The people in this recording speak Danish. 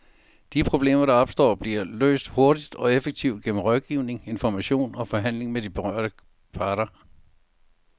De problemer, der opstår, bliver løst hurtigt og effektivt gennem rådgivning, information og forhandling med de berørte parter.